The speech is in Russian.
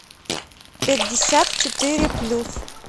пятьдесят четыре плюс